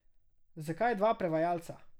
Zakaj dva prevajalca?